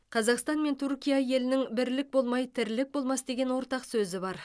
қазақстан мен түркия елінің бірлік болмай тірлік болмас деген ортақ сөзі бар